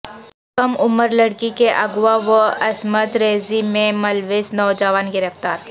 کم عمر لڑکی کے اغوا و عصمت ریزی میں ملوث نوجوان گرفتار